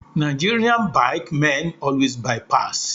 Nigerian bike men always by pass